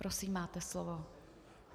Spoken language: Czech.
Prosím máte slovo.